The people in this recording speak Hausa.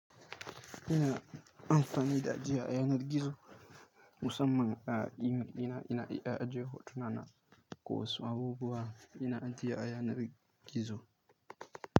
Ina amfani da ajia ayanar gizo musamman a email ɗina, ina iya ajiye hotuna na ko wasu abubuwa. Ina ajiye ayanar gizo.